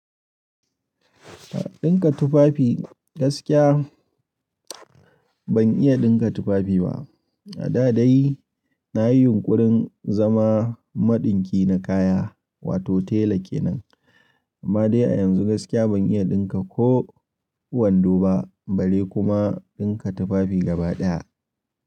Ɗinka tufafi gaskiya ban iya ɗinka tufafi ba. A da dai nayi yunƙurin zama maɗinki na kaya wato tela kenan. Amma dai a yanzu gaskiya ban iya ɗinka ko wando ba bare kuma ɗinka tufafi gaba ɗaya.